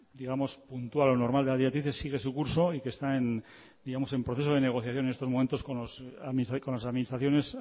puntual o normal de las directrices sigue su curso y que está en procesos de negociación en estos momentos con las administraciones